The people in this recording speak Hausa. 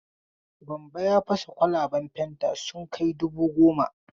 Gambo ya fasa kwalaban fanta sun kai dubu gomo.